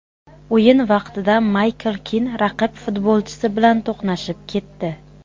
O‘yin vaqtida Maykl Kin raqib futbolchisi bilan to‘qnashib ketdi.